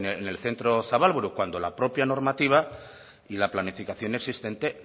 en el centro zabalburu cuando la propia normativa y la planificación existente